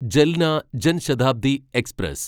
Jalna Jan Shatabdi express